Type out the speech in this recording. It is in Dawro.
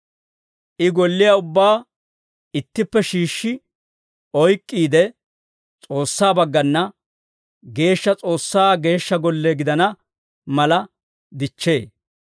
I golliyaa ubbaa ittippe shiishshi oyk'k'iide, S'oossaa baggana Geeshsha, S'oossaa Geeshsha golle gidana mala dichchee.